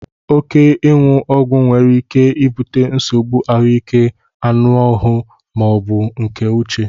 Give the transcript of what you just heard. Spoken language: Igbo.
Óké iwu Ọgwụ nwere ike ibute nsogbu ahụike anụ ahụ ma ọ bụ nke uche